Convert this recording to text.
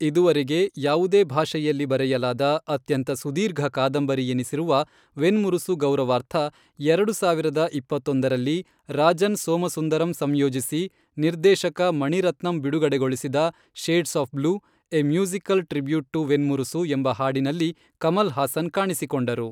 ಇದುವರೆಗೆ ಯಾವುದೇ ಭಾಷೆಯಲ್ಲಿ ಬರೆಯಲಾದ ಅತ್ಯಂತ ಸುದೀರ್ಘ ಕಾದಂಬರಿಯೆನಿಸಿರುವ ವೆನ್ಮುರಸು ಗೌರವಾರ್ಥ, ಎರಡು ಸಾವಿರದ ಇಪ್ಪತ್ತೊಂದರಲ್ಲಿ, ರಾಜನ್ ಸೋಮಸುಂದರಂ ಸಂಯೋಜಿಸಿ, ನಿರ್ದೇಶಕ ಮಣಿರತ್ನಂ ಬಿಡುಗಡೆಗೊಳಿಸಿದ , shades of blue, a musical tribute to Venmurasu, ಎಂಬ ಹಾಡಿನಲ್ಲಿ ಕಮಲ್ ಹಾಸನ್ ಕಾಣಿಸಿಕೊಂಡರು.